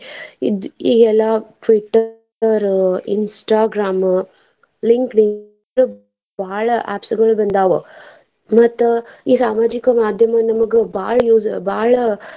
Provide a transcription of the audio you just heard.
ಇಗೆಲ್ಲಾ Twitter, Instagram, LinkedIn ಬಾಳ apps ಗಳ್ ಬಂದಾವ ಮತ್ತ್ ಈ ಸಾಮಾಜಿಕ ಮಾದ್ಯಮ ನಮ್ಗ್ ಬಾಳ ಬಾಳ.